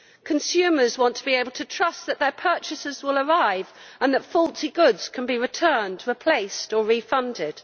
Consumers want to be able to trust that their purchases will arrive and that faulty goods can be returned, replaced or refunded.